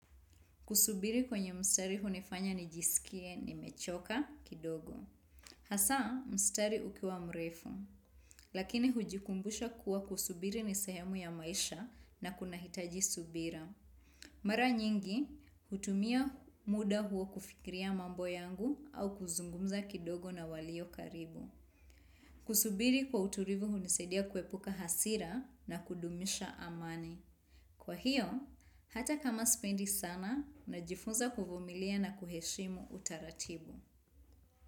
Kusubiri kwenye mstari hunifanya nijisikie nimechoka kidogo. Hasa, mstari ukiwa mrefu, lakini hujikumbusha kuwa kusubiri ni sehemu ya maisha na kunahitaji subira. Mara nyingi, hutumia muda huo kufikiria mambo yangu au kuzungumza kidogo na walio karibu. Kusubiri kwa uturivu hunisaidia kuepuka hasira na kudumisha amani. Kwa hiyo, hata kama sipendi sana, najifunza kuvumilia na kuheshimu utaratibu.